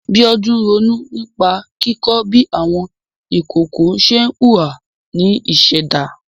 Bíọ́dún ronú nípa kíkọ́ bí àwọn ìkokò ṣe ń hùwà ní ìṣẹ̀dá.